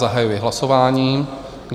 Zahajuji hlasování.